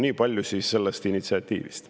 Nii palju siis sellest initsiatiivist.